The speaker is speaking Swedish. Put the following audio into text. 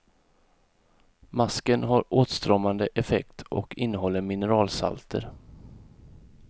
Masken har åtstramande effekt och innehåller mineralsalter.